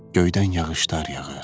Göydən yağışlar yağır.